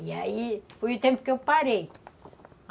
E aí, foi o tempo que eu parei.